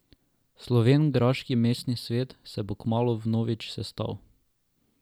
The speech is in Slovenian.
Slovenjgraški mestni svet se bo kmalu vnovič sestal.